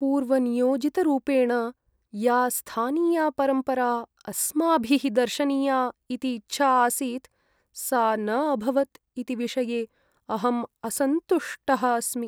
पूर्वनियोजितरूपेण या स्थानीया परम्परा अस्माभिः दर्शनीया इति इच्छा आसीत् सा न अभवत् इति विषये अहं असन्तुष्टः अस्मि।